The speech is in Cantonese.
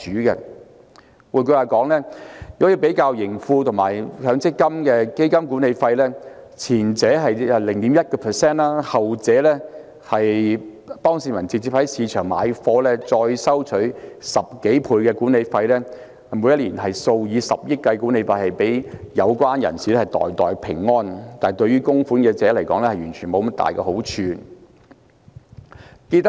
如果比較盈富基金和強積金的基金管理費，前者是 0.1%， 後者是由市民直接在市場購買，管理費高出10多倍，每年數以十億元計的管理費予有關人士袋袋平安，但對於供款者卻沒有多大好處。